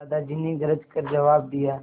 दादाजी ने गरज कर जवाब दिया